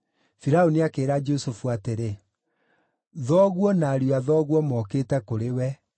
Firaũni akĩĩra Jusufu atĩrĩ, “Thoguo na ariũ a thoguo mokĩte kũrĩ we,